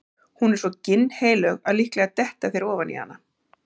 Hún er svo ginnheilög að líklega detta þeir ofan í hana.